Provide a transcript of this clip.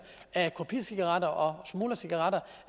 kopicigaretter og smuglercigaretter